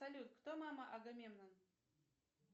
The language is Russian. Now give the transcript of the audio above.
салют кто мама агамемнон